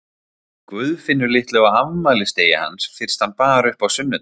Guðfinnu litlu á afmælisdegi hans fyrst hann bar upp á sunnudag.